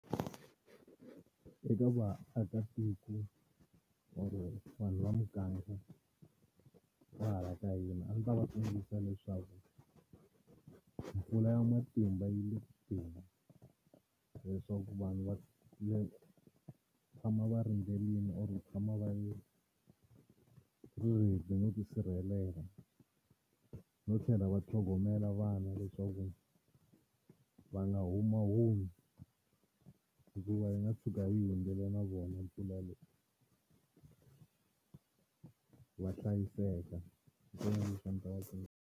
Eka vaakatiko or vanhu va muganga va hala ka hina a ndzi ta va tsundzuxa leswaku mpfula ya matimba yi le ku teni leswaku vanhu va tshama va rindzerile or ku tshama va ri ready no ti sirhelela no tlhela va tlhogomela vana leswaku va nga humahumi hikuva yi nga tshuka yi hundzile na vona mpfula leyi va hlayiseka hi swona leswi a ndzi ta va tsundzuxa.